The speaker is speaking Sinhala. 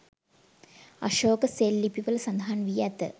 අශෝක සෙල් ලිපි වල සඳහන් වී ඇත.